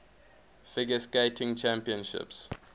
figure skating championships